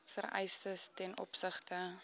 vereistes ten opsigte